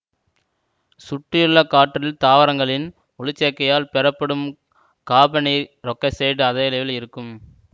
சுற்றியுள்ள காற்றில் தாவரங்களின் ஒளிச்சேர்க்கையால் பெறப்படும் காபனீரொக்சைட்டு அதிகளவில் இருக்கும்